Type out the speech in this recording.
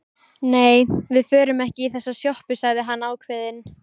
Nei, við förum ekki í þessa sjoppu, sagði hann ákveðinn.